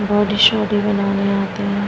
Body सोढ़ी बनाने यहाँ आते है।